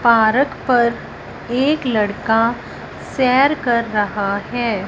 Park पर एक लड़का सैर कर रहा है।